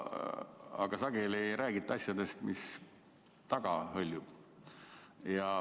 Aga sageli ei räägita asjadest, mis taamal hõljuvad.